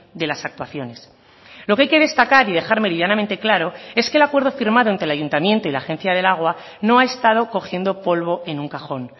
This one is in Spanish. de las actuaciones lo que hay que destacar y dejar meridianamente claro es que el acuerdo firmado entre el ayuntamiento y la agencia del agua no ha estado cogiendo polvo en un cajón